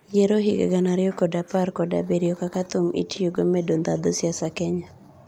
Yiero higa gana ariyo kod apar kod abirio:kaka thum itiyogo medo ndhadho siasa Kenya.